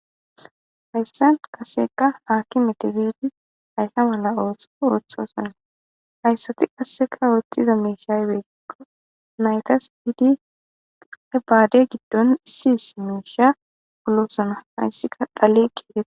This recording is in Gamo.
hayssan qasekka aaki metabidi hayssa mala ooso wotha sonna hayssati qasseka ooththiza meeshaywegikko naytas fiidi ae baade giddon issi is meesha ulosona hayssika dhale ketee